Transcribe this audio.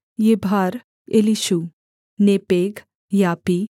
यिभार Elishua Nepheg Yapi